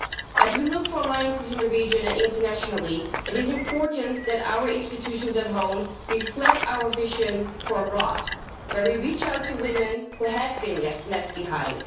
As we look for alliances in the region, and internationally, it is important that our institutions at home reflect our vision for abroad, where we reach out to women who have been left behind.